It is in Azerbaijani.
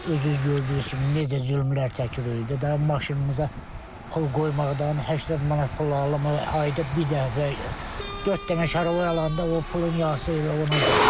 Özünüz gördüyünüz kimi necə zülmlər çəkirik, daha maşınımıza pul qoymaqdan, 80 manat pul ayda bir dəfə dörd dənə şaloy alanda o pulun yarısı elə ona gedir.